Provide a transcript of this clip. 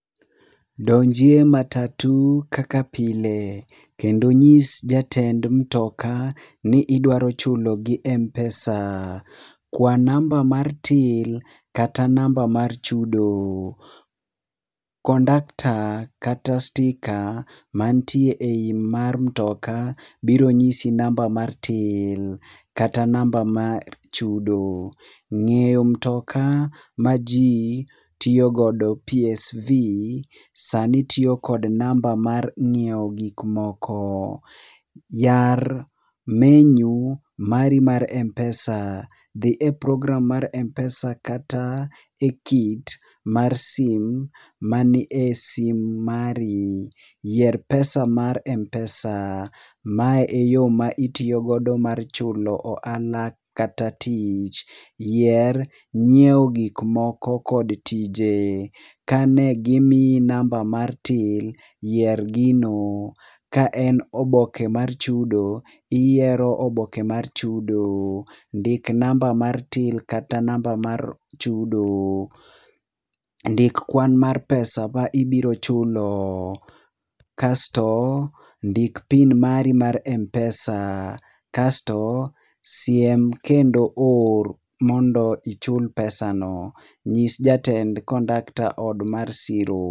Donjie matatu kaka pile, kendo nyis jatend mtoka ni idwa chulo gi Mpesa. Kwa namba mar till kata namba mar chudo. Kondakta kata sticker mantie ei mar mtoka biro nyisi namba mar till kata namba mar chudo. Ng'eyo mtoka ma ji tiyo godo PSV, sani tiyo kod namba mar ng'iewo gikmoko. Yar menyu mari mar Mpesa, dhi e program mar Mpesa kata e kit mar sim mani e sim mari. Yier pesa mar Mpesa, mae e yo ma itiyogodo mar chulo ohala kata tich. Yier nyiewo gik moko kod tije, kane gimiyi namba mar till, yier gino. Ka en oboke mar chudo, iyiero oboke mar chudo. Ndik namba mar till kata namba mar chudo. Ndik kwan mar pesa ma ibirochulo. Kasto, ndik PIN mari mar Mpesa, kasto, siem kendo or mondo ichul pesa no. Nyis jatend kondakta od mar siro.